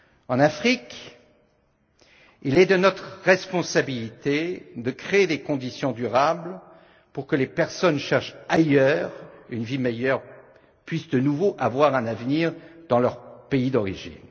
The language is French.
En Afrique, il est de notre responsabilité de créer des conditions durables pour que les personnes cherchent ailleurs une vie meilleure et puissent retrouver des perspectives d'avenir dans leur pays d'origine.